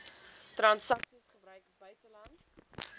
transaksies gebruik buitelandse